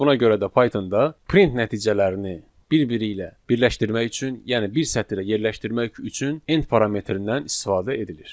Məhz buna görə də Pythonda print nəticələrini bir-biri ilə birləşdirmək üçün, yəni bir sətrə yerləşdirmək üçün end parametrindən istifadə edilir.